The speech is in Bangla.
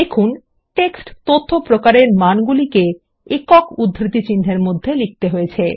দেখুন টেক্সট তথ্য প্রকার এর মানগুলিকে একক উদ্ধৃতি চিহ্ন এর মধ্যে লিখতে হবে